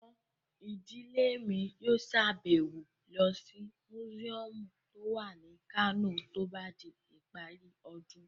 Àwọn ìdílé mi yóò sàbẹ̀wo lọ sí mùsíọ̀mù tó wà ní Kano tó bá di ìparí ọdún